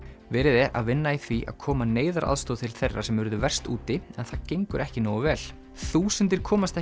verið er að vinna í því að koma neyðaraðstoð til þeirra sem urðu verst úti en það gengur ekki nógu vel þúsundir komast